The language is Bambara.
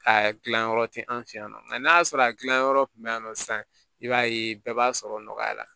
A gilan yɔrɔ tɛ an fɛ yan nɔ nka n'a y'a sɔrɔ a gilan yɔrɔ kun bɛ yen nɔ sisan i b'a ye bɛɛ b'a sɔrɔ nɔgɔya la